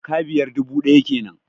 Jaka biyar, dubu ɗaya kenan